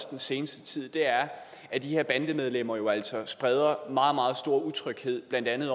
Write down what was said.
den seneste tid er at de her bandemedlemmer jo altså spreder meget meget stor utryghed blandt andet